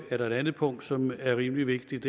er der et andet punkt som er rimelig vigtigt